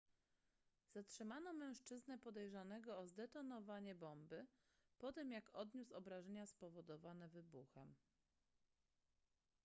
zatrzymano mężczyznę podejrzanego o zdetonowanie bomby po tym jak odniósł obrażenia spowodowane wybuchem